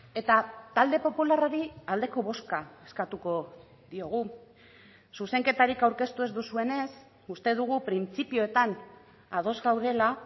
eta talde popularrari aldeko bozka eskatuko diogu zuzenketarik aurkeztu ez duzuenez uste dugu printzipioetan ados gaudela